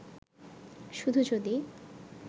শুধু যদি